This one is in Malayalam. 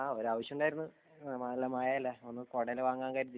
ആഹ് ഒരു ആവശ്യം ഉണ്ടായിരുന്നു . നല്ല മഴയല്ലേ ഒരു കുടയെല്ലാം വാങ്ങാം എന്ന് കരുതി